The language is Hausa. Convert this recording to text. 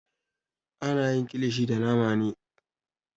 Ana yin kilishi da nama ne.